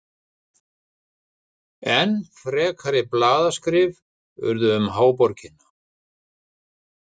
Enn frekari blaðaskrif urðu um háborgina.